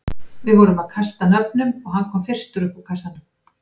Við vorum að kasta nöfnum og hann kom fyrstur upp úr kassanum.